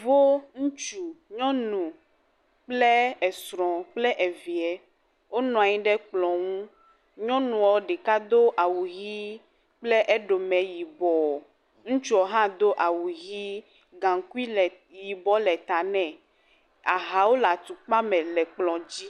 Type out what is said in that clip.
Wo, ŋutsu, nyɔnu kple esrɔ̃ kple evie wonɔ anyi ɖe kplɔ̃ ŋu, nyɔnuɔ ɖeka do awu ʋi kple eɖome yibɔ, ŋutsuɔ hã do awu ʋi, gaŋkui le yibɔ le ta nɛ, ahawo le atukpa me le kplɔ dzi.